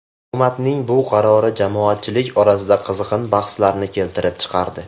Hukumatning bu qarori jamoatchilik orasida qizg‘in bahslarni keltirib chiqardi.